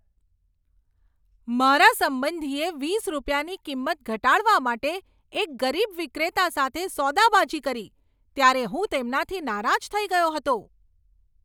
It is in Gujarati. મારા સંબંધીએ વીસ રૂપિયાની કિંમત ઘટાડવા માટે એક ગરીબ વિક્રેતા સાથે સોદાબાજી કરી ત્યારે હું તેમનાથી નારાજ થઈ ગયો હતો.